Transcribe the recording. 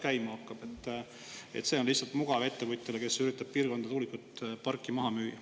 See on lihtsalt mugav ettevõtjale, kes üritab mingisse piirkonda tuulikuparki maha müüa.